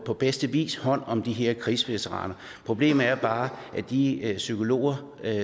på bedste vis hånd om de her krigsveteraner problemet er bare at de psykologer